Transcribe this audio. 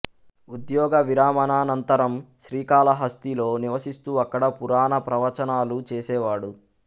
ఉద్యోగ విరమణానంతరం శ్రీకాళహస్తిలో నివసిస్తూ అక్కడ పురాణ ప్రవచనాలు చేసేవాడు